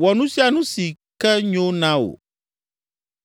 “Wɔ nu sia nu si ke nyo na wo.”